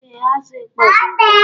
Ee, azụ ịkpọ dị ụtọ